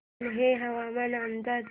कान्हे हवामान अंदाज